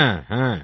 হ্যাঁ হ্যাঁ